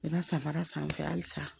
Bɛna san fara sanfɛ halisa